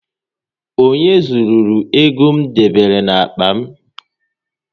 Onye zụrụru ego m debere n'akpa m?